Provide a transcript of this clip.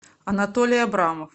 анатолий абрамов